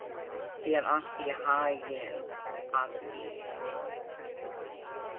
Gangi þér allt í haginn, Addý.